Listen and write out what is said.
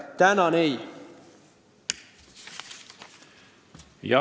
Tänan, ei!